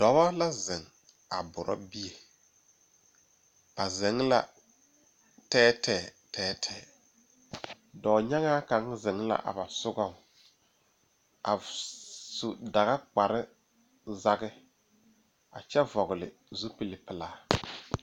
Dɔba la zeŋ a buro bie ba zeŋ la tɛɛtɛɛ tɛɛtɛɛ dɔɔnyaŋaa kaŋ zeŋ la a ba sogaŋ a su daga kpar zaŋe a kyɛ vɔgele zupili pelaa